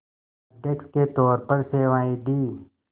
अध्यक्ष के तौर पर सेवाएं दीं